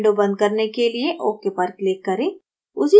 window बंद करने के लिए ok पर click करें